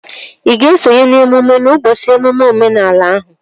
Ị ga-esonye n'emume ụbọchị emume omenala ahụ?